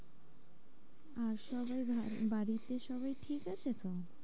আর সবাই ভালো বাড়িতে সবাই ঠিক আছে তো?